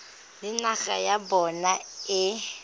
le naga ya bona e